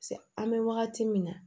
An bɛ wagati min na